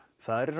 það er í